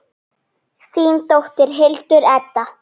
Þín dóttir, Hildur Edda.